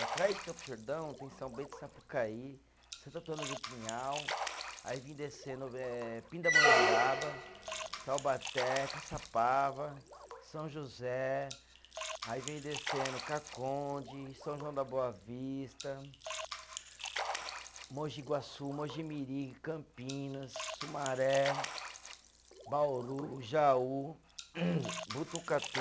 Atrás de Campos do Jordão tem São Bento de Sapucaí, Santo Antônio do Pinhal, aí vim descendo eh Pindamonhangaba, Taubaté, Caçapava, São José, aí vem descendo Caconde, São João da Boa Vista, Mogi Guaçu, Mogi Mirim, Campinas, Sumaré, Bauru, Jaú, Botucatu